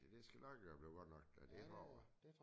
Det skal nok være blive godt nok det tror jeg